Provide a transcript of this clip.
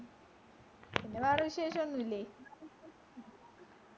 പിന്നെ വേറെ വിശേഷോന്നും ഇല്ലേ